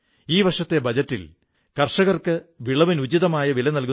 ഈ ലൈബ്രറിക്ക് വിശേഷാൽ അംഗത്വമാവശ്യമില്ലെന്നറിയുമ്പോൾ നിങ്ങൾക്ക് ആശ്ചര്യം തോന്നും